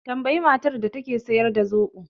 Tambayi matar da take siyar da zoɓo